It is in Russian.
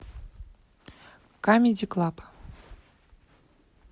камеди клаб